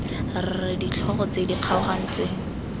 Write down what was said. r ditlhogo tse di kgaogantsweng